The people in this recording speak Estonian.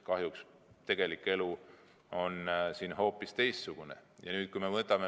Kahjuks tegelik elu on hoopis teistsugune.